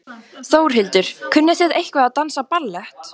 Þórhildur: Kunnið þið eitthvað að dansa ballett?